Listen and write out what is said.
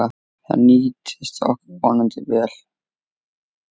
Það nýtist okkur vonandi vel.